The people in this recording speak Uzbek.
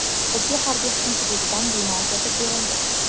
Bizga harbiy qism hududidan bino ajratib berildi.